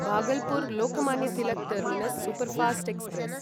Bhagalpur Lokmanya Tilak terminus superfast express